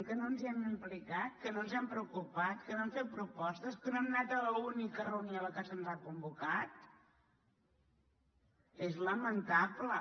que no ens hi hem implicat que no ens hem preocupat que no hem fet propostes que no hem anat a l’única reunió a què se’ns ha convocat és lamentable